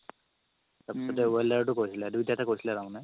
তাৰ পিছতে welder তও কৰিছিলা দুইটাতে কৰিছিলা তাৰমানে